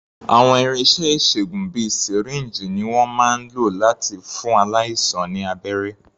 Àwọn irinṣẹ́ ìṣègùn bíi sìríǹjì ni wọ́n máa ń lò láti fún aláìsàn ní abẹ́rẹ́.